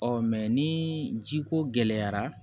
ni ji ko gɛlɛyara